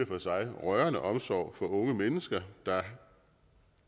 for sig rørende omsorg for unge mennesker der